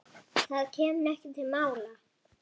Það kemur ekki til mála.